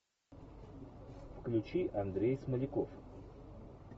включи андрей смоляков